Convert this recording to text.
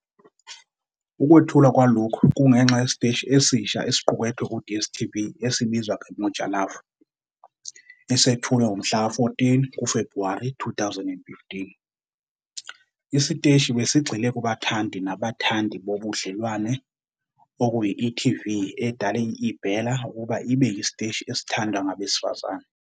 Ukwethulwa kwalokhu kungenxa yesiteshi esisha sokuqukethwe ku-DStv esibizwa ngeMoja Love, esethulwe ngomhlaka 14 kuFebhuwari 2015. Isiteshi besigxile kubathandi nabathandi bobudlelwano, okuyi-e.tv edale i-eBella ukuba ibe yisiteshi esithandwa ngabesifazane.